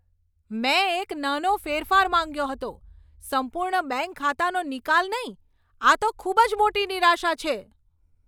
મેં એક નાનો ફેરફાર માંગ્યો હતો, સંપૂર્ણ બેંક ખાતાનો નિકાલ નહીં! આ તો ખૂબ મોટી નિરાશા છે.